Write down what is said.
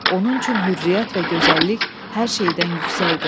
Onun üçün hürriyyət və gözəllik hər şeydən yüksək idi.